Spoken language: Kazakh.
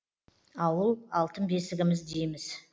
ауыл алтын бесігіміз дейміз